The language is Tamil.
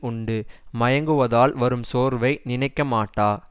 உண்டு மயங்குவதால் வரும் சோர்வை நினைக்கமாட்டா